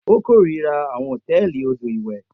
O korira awọn hotẹẹli odo iwẹ.